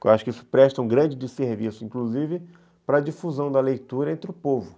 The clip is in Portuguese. Eu acho que isso presta um grande serviço, inclusive, para a difusão da leitura entre o povo.